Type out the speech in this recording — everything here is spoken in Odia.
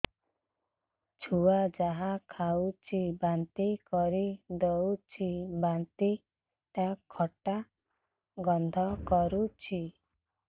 ଛୁଆ ଯାହା ଖାଉଛି ବାନ୍ତି କରିଦଉଛି ବାନ୍ତି ଟା ଖଟା ଗନ୍ଧ କରୁଛି